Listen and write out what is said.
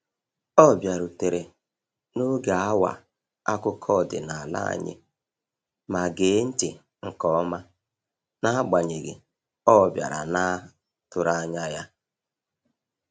Ọ bịarutere n'oge awa akụkọ ọdịnala anyị ma gee ntị nke ọma n'agbanyeghị ọbiara naa tụrụanya.